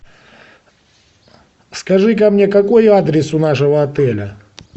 скажи ка мне какой адрес у нашего отеля